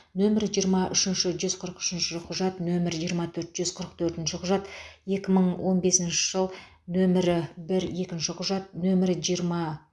нөмірі жиырма үшінші жүз қырық үшінші құжат нөмірі жиырма төрт жүз қырық төртінші құжат екі мың он бесінші жыл нөмірі бір екінші құжат нөмірі жиырма